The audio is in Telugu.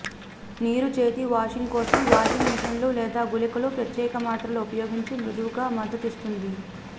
నీరు చేతి వాషింగ్ కోసం వాషింగ్ మెషీన్లు లేదా గుళికలు ప్రత్యేక మాత్రలు ఉపయోగించి మృదువుగా మద్దతిస్తుంది